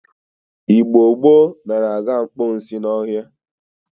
Igbo gboo nara aga mposi n'ohia.